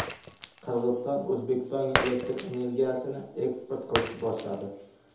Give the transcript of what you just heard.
Qirg‘iziston O‘zbekistonga elektr energiyasini eksport qilishni boshladi.